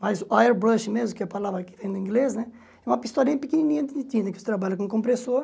Mas o airbrush mesmo, que é a palavra que vem do inglês né, é uma pistolinha pequenininha de tinta que você trabalha com o compressor.